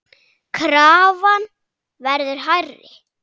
Krafan verður hærri.